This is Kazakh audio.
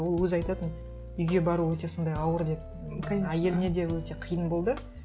ол өзі айтатын үйге бару өте сондай ауыр деп конечно әйеліне де өте қиын болды